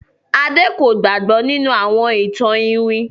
Ade kò gbàgbó nínú àwọn ìtàn iwin.